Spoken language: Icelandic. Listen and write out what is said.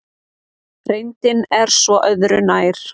Reyndin er svo öðru nær.